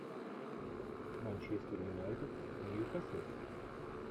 манчестер юнайтед ньюкасл